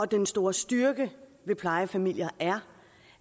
den store styrke ved plejefamilier er